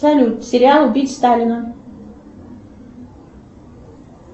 салют сериал убить сталина